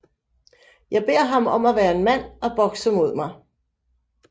Jeg beder ham om at være en mand og bokse mod mig